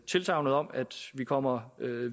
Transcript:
tilsagnet om at vi kommer